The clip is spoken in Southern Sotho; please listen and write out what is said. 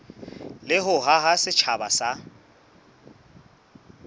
le ho haha setjhaba sa